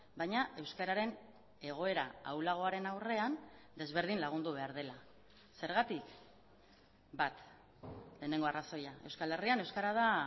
baina euskararen egoera ahulagoaren aurrean desberdin lagundu behar dela zergatik bat lehenengo arrazoia euskal herrian euskara da